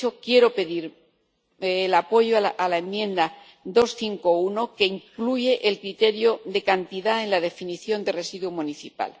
Por eso quiero pedir el apoyo a la enmienda 251, que incluye el criterio de cantidad en la definición de residuo municipal.